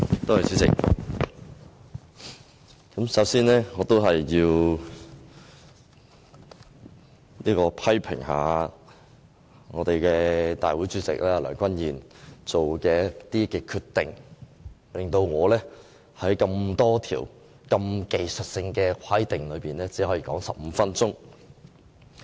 代理主席，首先，我要批評大會主席梁君彥所作的決定，令我只可以就多項技術性修訂說15分鐘。